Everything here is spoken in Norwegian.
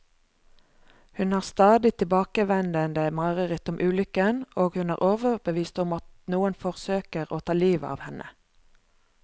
Hun har stadig tilbakevendende mareritt om ulykken, og hun er overbevist om at noen forsøker å ta livet av henne.